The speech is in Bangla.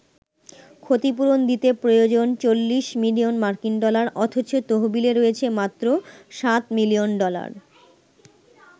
ক্ষতিপূরণ দিতে প্রয়োজন ৪০ মিলিয়ন মার্কিন ডলার অথচ তহবিলে রয়েছে মাত্র ৭ মিলিয়ন ডলার।